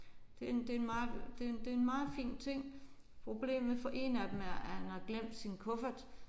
Det det er en meget det er en meget fin ting. Problemet for en af dem er at han har glemt sin kuffert